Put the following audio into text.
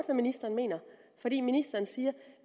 hvad ministeren mener fordi ministeren siger